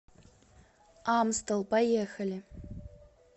амстел поехали